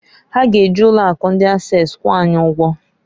Ha g'eji ụlọ akụ ndi Ases kwụọ anyị ụgwọ.